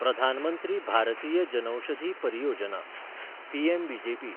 Pradhan Mantri Bhartiya Janaushadhi Pariyojana’ (PMBJP)